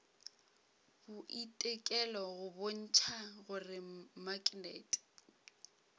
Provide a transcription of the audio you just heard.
boitekelo go bontšha gore maknete